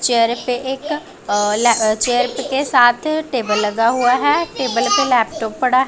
चेहरे पे एक अ ला चेयर के साथ टेबल लगा हुआ है टेबल पे लैपटॉप पड़ा--